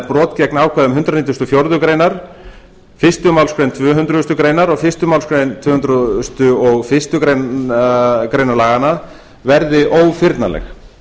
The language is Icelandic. brot gegn ákvæðum hundrað nítugasta og fjórðu grein fyrstu málsgrein tvö hundruð greinar og fyrstu málsgrein tvö hundruð og fyrstu grein laganna verði ófyrnanleg